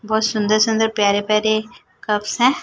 बहोत सुंदर सुंदर प्यारे प्यारे कप्स है।